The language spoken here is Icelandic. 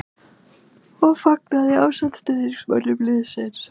. og fagnaði ásamt stuðningsmönnum liðsins.